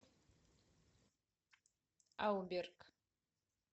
ауберг